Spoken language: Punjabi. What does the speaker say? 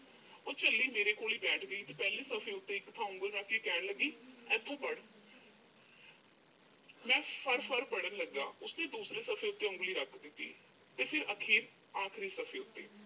ਉਹ ਝੱਲੀ ਮੇਰੇ ਕੋਲ ਹੀ ਬੈਠ ਗਈ ਤੇ ਪਹਿਲੇ ਸਫ਼ੇ ਉੱਤੇ ਇੱਕ ਥਾਂ ਉਂਗਲ ਰੱਖ ਕੇ ਕਹਿਣ ਲੱਗੀ, ਇੱਥੋਂ ਪੜ੍ਹ। ਮੈਂ ਫਟਾ-ਫਟ ਪੜ੍ਹਨ ਲੱਗਾ। ਉਸਨੇ ਦੂਸਰੇ ਪੰਨੇ ਉੱਤੇ ਉਂਗਲੀ ਰੱਖ ਦਿੱਤੀ ਤੇ ਫਿਰ ਆਖਰੀ ਸਫ਼ੇ ਉੱਤੇ।